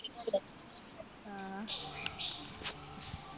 ആ